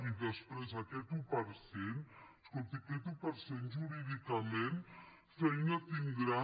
i després aquest un per cent escolti aquest un per cent jurídicament feina tindran